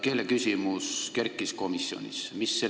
Keeleküsimus tuli komisjonis kõne alla.